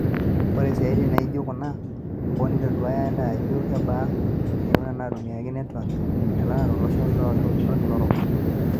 Ore siatin naajio kuna, hoo, neitoduaya ake ajo kebaa eyiuna natumiaki, netwak nalelek tolosho lolkila orok.